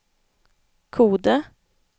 Kode